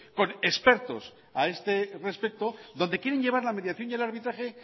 con expertos a este respecto donde quieren llevar la mediación y el arbitraje